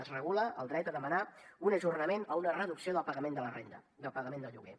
es regula el dret a demanar un ajornament o una reducció del pagament de la renda del pagament del lloguer